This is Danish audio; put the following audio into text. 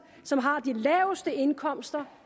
som har de laveste indkomster